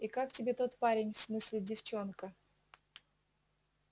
и как тебе тот парень в смысле девчонка